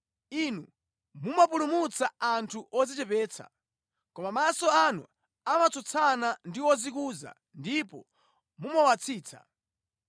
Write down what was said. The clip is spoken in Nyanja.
Inu mumapulumutsa anthu odzichepetsa, koma maso anu amatsutsana ndi odzikuza ndipo mumawatsitsa.